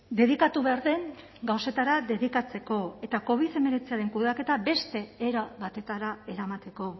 dedikatu behar den gauzetara dedikatzeko eta covid hemeretziaren kudeaketa beste era batetara eramateko